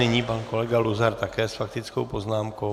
Nyní pan kolega Luzar také s faktickou poznámkou.